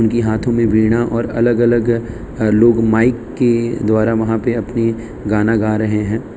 उनकी हाथों में वीणा और अलग अलग अह लोग माइक के द्वारा वहां पे अपनी गाना गा रहे हैं।